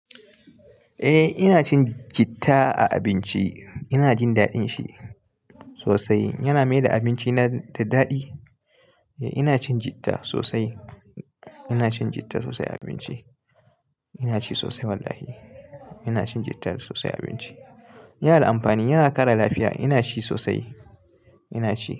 Eh ina cin citta a abinci. Ina jin daɗin shi sosai. Yana mai da abinci na da daɗi. Ina cin jitta sosai. Ina cin jitta sosai a abinci. Ina ci sosai wallahi. Ina cin jitta sosai a abinci. Yana da amfani, yana ƙara lafiya. Ina ci sosai, ina ci.